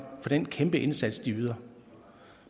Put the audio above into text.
for den kæmpe indsats de yder